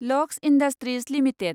lux industries limited